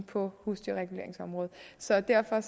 på husdyrreguleringsområdet så derfor